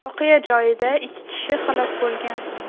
Voqea joyida ikki kishi halok bo‘lgan.